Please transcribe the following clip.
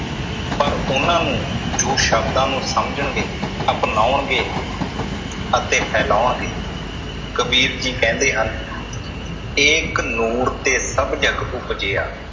ਪਰ ਉਹਨਾਂ ਨੂੰ ਜੋ ਸ਼ਬਦਾਂ ਨੂੰ ਸਮਝਣਗੇ, ਅਪਨਾਉਣਗੇ ਅਤੇ ਫੈਲਾਉਣਗੇ । ਕਬੀਰ ਜੀ ਕਹਿੰਦੇ ਹਨ ਏਕ ਨੂਰ ਤੇ ਸਭ ਜਗਿ ਉਪਜਿਆ